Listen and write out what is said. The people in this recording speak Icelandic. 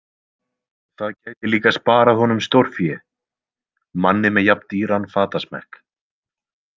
Það gæti líka sparað honum stórfé, manni með jafn dýran fatasmekk.